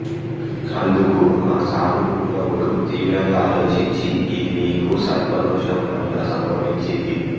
అందుకు ఆ సాధుపుంగవుడు తీవ్రంగా ఆలోచించి ఇది నీకు సర్పదోషంవల్ల సంభవించింది